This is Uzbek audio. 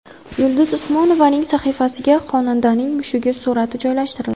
Yulduz Usmonovaning sahifasiga xonandaning mushugi surati joylashtirildi.